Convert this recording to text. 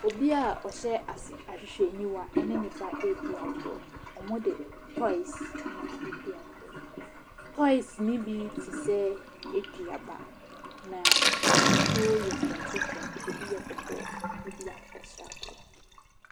Obiaa ɔhyɛ ahwehwɛniwa ɛne ne ba eedi agrɔ. Ɔmo de tɔes na eedi agrɔ. Tɔes ne bi te sɛ eduaba na n'ahosuo yɛ soronko soronko, ebi yɛ kɔkɔɔ, ebi yɛ akokɔ sradeɛ.